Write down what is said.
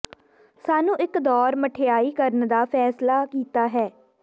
ਸਾਨੂੰ ਇੱਕ ਦੌਰ ਮਿਠਆਈ ਕਰਨ ਦਾ ਫੈਸਲਾ ਕੀਤਾ ਹੈ